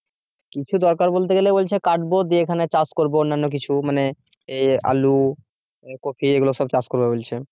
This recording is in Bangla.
কিছু দরকার বলতে গেলে বলছে কাটবো দিয়ে এখানে চাষ করব অন্যান্য কিছু মানে এই আলু কপি এগুলো সব চাষ করবে বলছে।